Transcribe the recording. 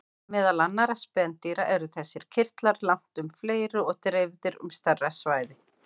Meðal annarra spendýra eru þessir kirtlar langtum fleiri og dreifðir um stærra svæði.